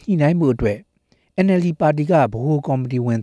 ညှိနှိုင်းခဲ့ကြပါတယ်။ NLD ဗဟိုကော်မတီဝင်